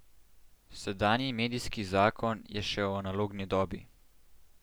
Sedanji medijski zakon je še v analogni dobi.